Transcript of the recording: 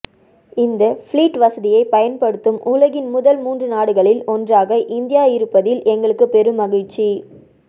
இந்த ஃப்ளீட் வசதியைப் பயன்படுத்தும் உலகின் முதல் மூன்று நாடுகளில் ஒன்றாக இந்தியா இருப்பதில் எங்களுக்கு பெரும் மகிழ்ச்சி